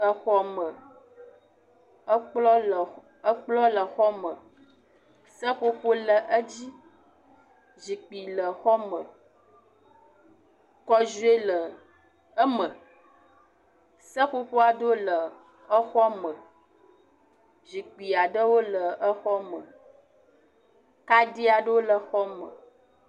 Exɔme, ekplɔ le exɔ me, seƒoƒo le edzi, zikpui le aɖewo le xɔ eme, kɔziɔe le eme, seƒoƒoƒ aɖewo le exɔ me, zikpui aɖewo le exɔ me kaɖi aɖewo le exɔ me.